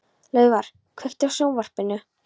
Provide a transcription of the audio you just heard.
Laufar, kveiktu á sjónvarpinu.